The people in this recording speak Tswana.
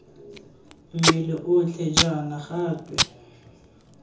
mmele otlhe jaana ga twe